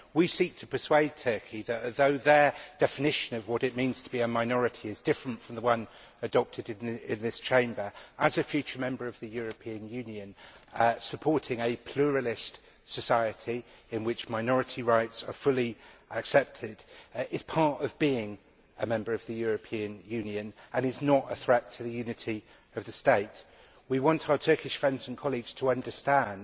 We seek to persuade Turkey that, although their definition of what it means to be a minority is different from the one adopted in this Chamber, as a future member of the European Union, supporting a pluralist society in which minority rights are fully accepted is part of being a member of the European Union and is not a threat to the unity of the state. We want our Turkish friends and colleagues to understand